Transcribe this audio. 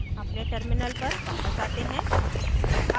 अपने terminal पर वापस आते हैं